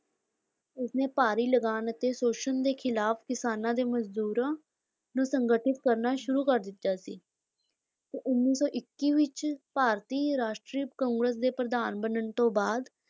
ਇਸਨੇ ਭਾਰੀ ਲਗਾਨ ਅਤੇ ਸ਼ੋਸ਼ਨ ਦੇ ਖਿਲਾਫ਼ ਕਿਸਾਨਾਂ ਤੇ ਮਜ਼ਦੂਰਾਂ ਨੂੰ ਸੰਗਠਿਤ ਕਰਨਾ ਸ਼ੁਰੂ ਕਰ ਦਿੱਤਾ ਸੀ, ਤੇ ਉੱਨੀ ਸੌ ਇੱਕੀ ਵਿੱਚ ਭਾਰਤੀ ਰਾਸ਼ਟਰੀ ਕਾਂਗਰਸ ਦੇ ਪ੍ਰਧਾਨ ਬਣਨ ਤੋਂ ਬਾਅਦ